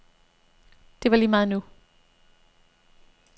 Det var lige meget nu.